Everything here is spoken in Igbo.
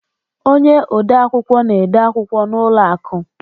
Ọnye ọde akwụkwọ na-ede akwụkwọ n' ụlọ akụ